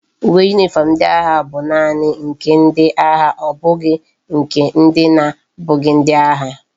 Uwe uniform ndi agha bu naani nke ndi agha obughi nke ndi na abughi ndi agha